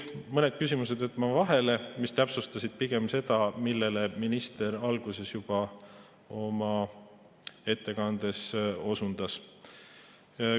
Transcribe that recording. Mõned küsimused jätan vahele, need täpsustasid pigem seda, millele minister juba oma ettekandes osundas.